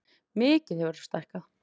Mikið hefurðu stækkað.